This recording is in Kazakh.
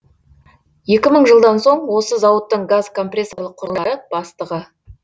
екі мың жылдан осы зауыттың газкомпрессорлық құрылғылары бастығы